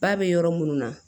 Ba bɛ yɔrɔ minnu na